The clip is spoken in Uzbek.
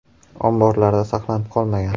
Omborlarda saqlanib qolmagan.